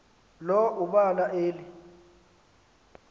lo ubala eli